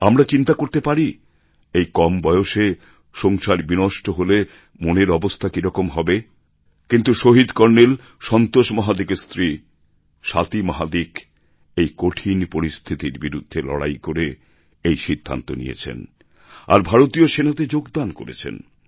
আমরা চিন্তা করতে পারি এই কম বয়সে সংসার বিনষ্ট হলে মনের অবস্থা কিরকম হবে কিন্তু শহীদ কর্নেল সন্তোষ মহাদিকের স্ত্রী স্বাতি মহাদিক এই কঠিন পরিস্থিতির বিরুদ্ধে লড়াই করে এই সিদ্ধান্ত নিয়েছেন আর ভারতীয় সেনাতে যোগদান করেছেন